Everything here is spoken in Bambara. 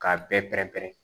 K'a bɛɛ pɛrɛn-pɛrɛn